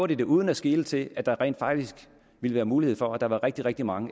det uden at skele til at der rent faktisk ville være mulighed for at der var rigtig rigtig mange